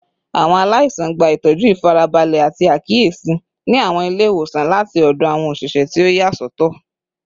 Awọn alaisan gba itọju ifarabalẹ ati akiyesi ni awọn ile-iwosan lati ọdọ awọn oṣiṣẹ ti o yasọtọ